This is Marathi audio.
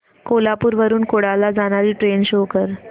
कोल्हापूर वरून कुडाळ ला जाणारी ट्रेन शो कर